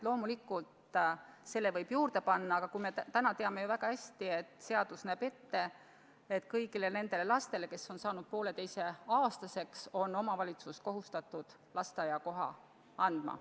Loomulikult selle võib juurde panna, aga me teame ju väga hästi, et seadus näeb ette, et kõigile nendele lastele, kes on saanud vähemalt poolteiseaastaseks, on omavalitsus kohustatud lasteaiakoha andma.